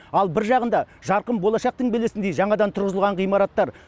ал бір жағында жарқын болашақтың белесіндей жаңадан тұрғызылған ғимараттар